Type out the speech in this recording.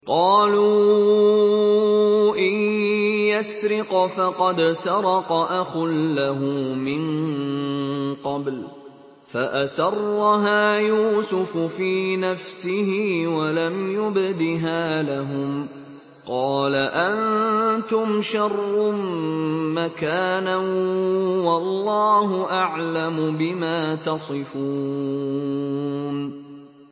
۞ قَالُوا إِن يَسْرِقْ فَقَدْ سَرَقَ أَخٌ لَّهُ مِن قَبْلُ ۚ فَأَسَرَّهَا يُوسُفُ فِي نَفْسِهِ وَلَمْ يُبْدِهَا لَهُمْ ۚ قَالَ أَنتُمْ شَرٌّ مَّكَانًا ۖ وَاللَّهُ أَعْلَمُ بِمَا تَصِفُونَ